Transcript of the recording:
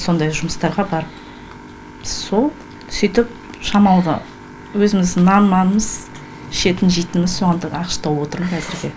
сондай жұмыстарға барып сол сүйтіп шамалғы өзіміздің нан манымыз ішетін жейтініміз соған ақша тауып отырмыз әзірге